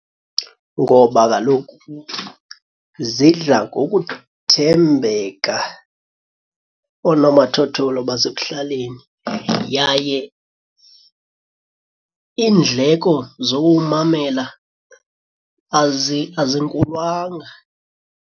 Ngoba kaloku zidla ngokuthembeka oonomathotholo basekuhlaleni yaye iindleko zowuwumamela azinkulwanga.